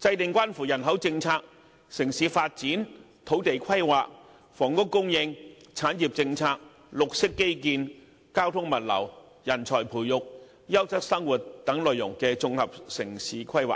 制訂關乎人口政策、城市發展、土地規劃、房屋供應、產業政策、綠色基建、交通物流、人才培育、優質生活等內容的綜合城市規劃。